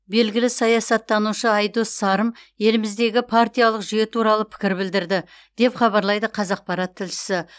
белгілі саясаттанушы айдос сарым еліміздегі партиялық жүйе туралы пікір білдірді деп хабарлайды қазақпарат тілшісі